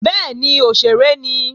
Bẹ́ẹ̀ni, òṣèré ni